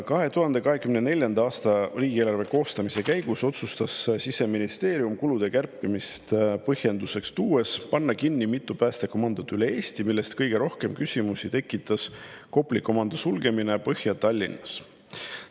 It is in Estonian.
2024. aasta riigieelarve koostamise käigus otsustas Siseministeerium, kulude kärpimist põhjenduseks tuues, panna kinni mitu päästekomandot üle Eesti, millest kõige rohkem küsimusi tekitas Kopli komando sulgemine Põhja-Tallinnas.